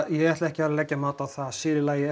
ég ætla ekki að leggja mat á það sér í lagi